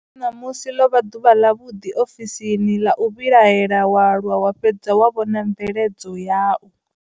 Ṋamusi ḽo vha ḓuvha ḽavhuḓi ofisini ḽa u vhilahela wa lwa wa fhedza wa vhona mveledzo yau.